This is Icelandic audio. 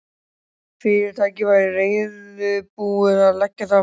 Fyrirtækið væri reiðubúið að leggja það fram.